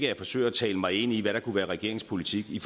jeg forsøger at tale mig ind i hvad der kunne være regeringens politik i